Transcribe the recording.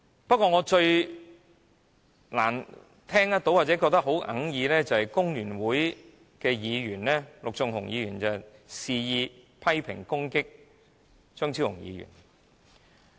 不過，我最難接受的是工聯會的陸頌雄議員肆意批評和攻擊張超雄議員。